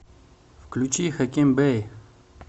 включи хаким бей